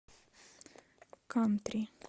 кантри